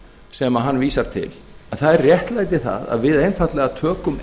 sem hann vísar til það réttlæti það að við einfaldlega tökum